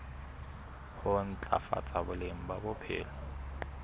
ho ntlafatsa boleng ba bophelo